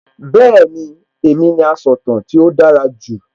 Bẹ́ẹ̀ni, èmi ni asọ̀tàn tí ó dára jù